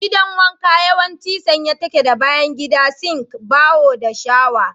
Gidan wanka yawanci sanye take da bayan gida, sink, baho, da shawa.